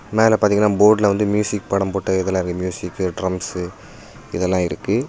மேல பாத்தீங்கன்னா போர்டுல வந்து மியூசிக் படம் போட்ட இதெலா மியூசிக்க்கு டிரம்சு இதெல்லா இருக்கு.